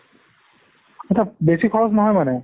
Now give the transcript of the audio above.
বেছি খৰচ নহয় মানে?